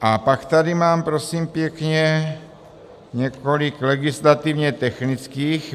A pak tady mám, prosím pěkně, několik legislativně technických.